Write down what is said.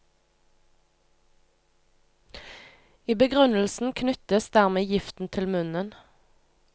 I begrunnelsen knyttes dermed giften til munnen.